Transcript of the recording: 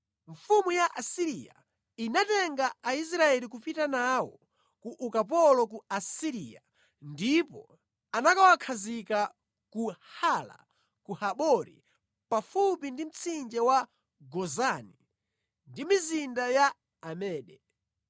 Mfumu ya ku Asiriya inatenga Aisraeli kupita nawo ku ukapolo ku Asiriya ndipo anakawakhazika ku Hala, ku Habori pafupi ndi mtsinje wa Gozani ndi mʼmizinda ya Amedi.